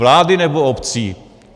Vlády, nebo obcí?